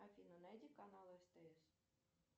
афина найди канал стс